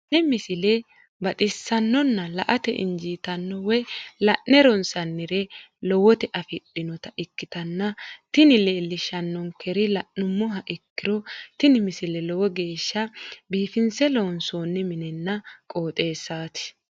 tenne misile baxisannonna la"ate injiitanno woy la'ne ronsannire lowote afidhinota ikkitanna tini leellishshannonkeri la'nummoha ikkiro tini misile lowo geeshsha biifinse loonsoonni minenna qooxeessaati.